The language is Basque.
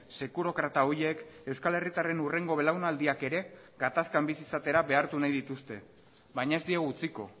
sekurokrata horiek euskal herritarren hurrengo belaunaldiak ere gatazkan bizi izatera behartu nahi dituzte baina ez diegu utziko